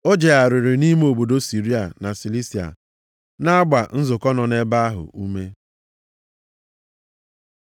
O jegharịrị nʼime obodo Siria na Silisia na-agba nzukọ nọ nʼebe ahụ ume.